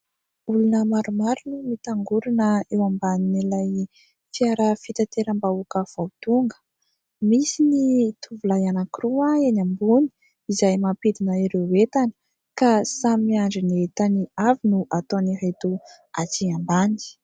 Olona maromaro no mitangorona eo amban'ilay fiara fitaterambahoaka vao tonga. Misy ny tovolahy anankiroa eny ambony izay mampidina ireo entany ka samy miandry ny entany avy no ataon'ireto atsy ambany.